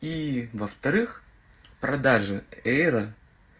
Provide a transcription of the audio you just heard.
и во-вторых продажи эйра